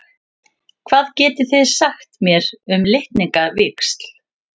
Hvað getið þið sagt mér um litningavíxl?